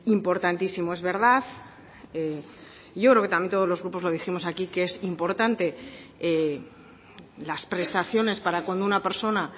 importantísimo es verdad yo creo que también todos los grupos lo dijimos aquí que es importante las prestaciones para con una persona